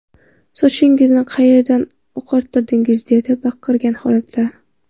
Sochingizni qayerdan oqartirdingiz?” dedi baqirgan holatda.